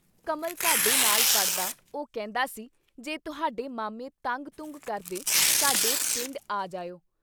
ਕਮਲ ਸਾਡੇ ਨਾਲ ਪੜ੍ਹਦਾ ਉਹ ਕਹਿੰਦਾ ਸੀ ਜੇ ਤੁਹਾਡੇ ਮਾਮੇ ਤੰਗ ਤੁੰਗ ਕਰਦੇ ਸਾਡੇ ਪਿੰਡ ਆ ਜਾਇਓ।